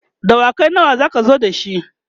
dawakai nawa zaka zo da shi?